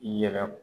I yɛrɛ